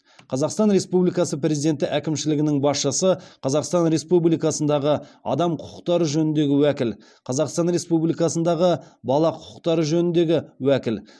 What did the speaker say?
қазақстан республикасы президенті әкімшілігінің басшысы қазақстан республикасындағы адам құқықтары жөніндегі уәкіл қазақстан республикасындағы бала құқықтары жөніндегі уәкіл